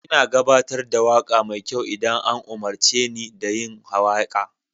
Ina gabatar da waƙa mai kyau idan an umarce ni da yin waƙa.